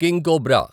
king cobra